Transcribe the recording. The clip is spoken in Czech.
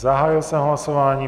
Zahájil jsem hlasování.